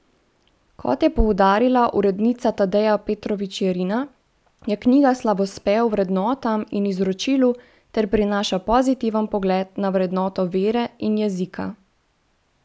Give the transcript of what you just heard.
Kot je poudarila urednica Tadeja Petrovčič Jerina, je knjiga slavospev vrednotam in izročilu ter prinaša pozitiven pogled na vrednoto vere in jezika.